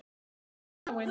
Mamma mín er dáin.